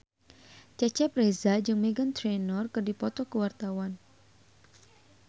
Cecep Reza jeung Meghan Trainor keur dipoto ku wartawan